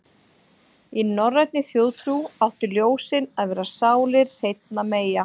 Í norrænni þjóðtrú áttu ljósin að vera sálir hreinna meyja.